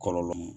Kɔlɔlɔ